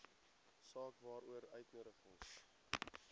saak waaroor uitnodigings